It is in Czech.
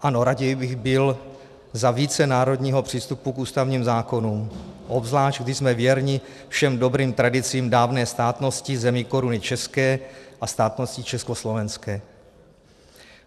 Ano, raději bych byl za více národního přístupu k ústavním zákonům, obzvlášť když jsme věrni všem dobrým tradicím dávné státnosti zemí Koruny české a státnosti československé.